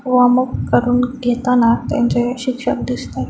Warm up करून घेताना त्यांचे शिक्षक दिसतायत.